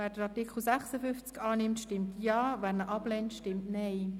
Wer den Artikel 55 annimmt, stimmt Ja, wer ihn ablehnt stimmt nein.